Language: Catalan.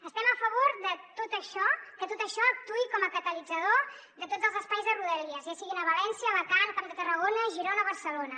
estem a favor que tot això actuï com a catalitzador de tots els espais de rodalies ja siguin a valència alacant camp de tarragona girona o barcelona